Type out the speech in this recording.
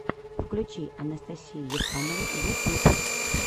включи анастасию ефанову ютюб